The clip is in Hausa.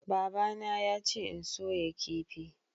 babana yace in soya kifi